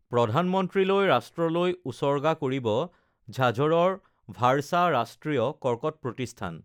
প্ৰধানমন্ত্ৰীলৈ ৰাষ্ট্ৰলৈ উচৰ্গা কৰিব ঝাঝৰৰ ভাড়চা ৰাষ্ট্ৰীয় কৰ্কট প্ৰতিষ্ঠান